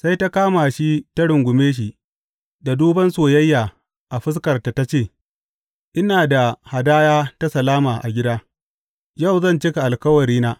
Sai ta kama shi ta rungume shi da duban soyayya a fuskarta ta ce, Ina da hadaya ta salama a gida; yau zan cika alkawarina.